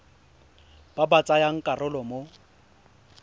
ba ba tsayang karolo mo